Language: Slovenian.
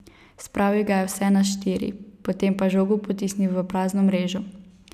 Spravil ga je vse na štiri, potem pa žogo potisnil v prazno mrežo.